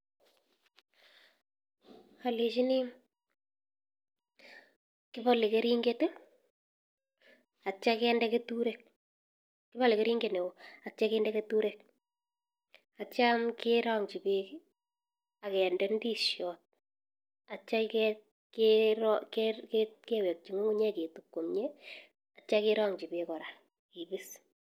Alechini kibale keringet, atyam kende keturek kibale keringet neoo atyam kende keturek, atyam kerang'chi bek akende ndishiot, atya kewekchi ng'ung'uny'ek ketup komnye atya kerang'chi bek kora kibis.